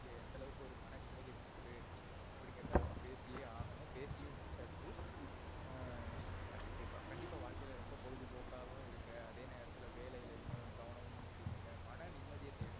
எந்த அளவுக்கு ஒரு மன நிமதியை கொடுக்குது அப்டினுரத நம்ப பேசியே ஆகனோம் பேசியும் முடிச்சாச்சு எர் கண்டிப்பா. கண்டிப்பா வாழ்க்கைல ரொம்ப பொழுதுபோகாவும் இருங்க அதே நேரத்துல்ல வேலைலயும் கவனமும் செலுத்துங்க. மன நிமதியை தேடுங்க.